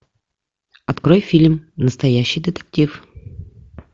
открой фильм настоящий детектив